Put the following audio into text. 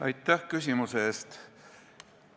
Aitäh küsimuse eest!